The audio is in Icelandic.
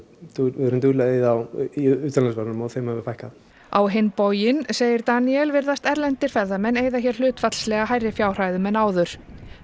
við erum dugleg að eyða í utanlandsferðunum og þeim hefur fækkað á hinn bóginn segir Daníel virðist erlendir ferðamenn eyða hér hlutfallslega hærri fjárhæðum en áður